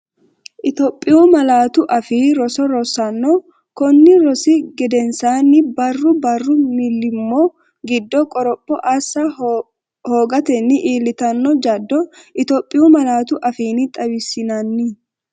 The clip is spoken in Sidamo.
Itophiyu Malaatu Afii Roso Rosaano konni rosi gedensaanni Barru barru millimmo giddo qoropho assa hoogatenni iillitanno jaddo Itophiyu malaatu afiinni xawissinanni.